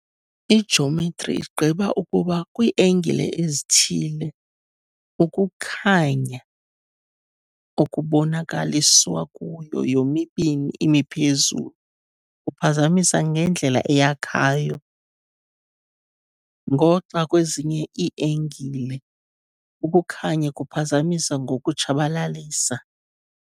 Ijometri igqiba ukuba kwii-engile ezithile, ukukhanya okubonakaliswa kuyo yomibini imiphezulu kuphazamisa ngendlela eyakhayo, ngoxa kwezinye ii-engile, ukukhanya kuphazamisa ngokutshabalalisa.